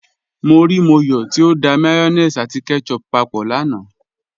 Mọ́ ríí Mọ́yọ̀ tí ó dá mayonnaise àti ketchup pápọ̀ lánà.